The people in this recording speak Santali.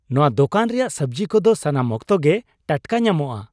ᱱᱚᱶᱟ ᱫᱳᱠᱟᱱ ᱨᱮᱭᱟᱜ ᱥᱟᱹᱵᱡᱤ ᱠᱚᱫᱚ ᱥᱟᱱᱟᱢ ᱚᱠᱛᱚ ᱜᱮ ᱴᱟᱴᱠᱟ ᱧᱟᱢᱚᱜᱼᱟ !